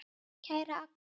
Kæra Agga.